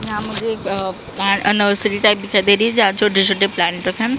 यहां मुझे एक अ अ नर्सरी टाइप दिखाई रही है जहां छोटे छोटे प्लाट रखे हैं।